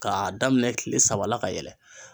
K'a daminɛ kile saba la ka yɛlɛ.